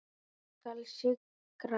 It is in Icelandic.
Ég skal sigra!